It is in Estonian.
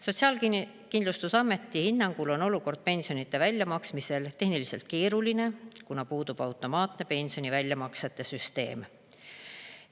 Sotsiaalkindlustusameti hinnangul on olukord pensionide väljamaksmisel tehniliselt keeruline, kuna puudub automaatne pensioni väljamaksete süsteem.